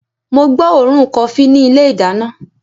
mo gbọ́ òórùn kofí ní ilé ìdáná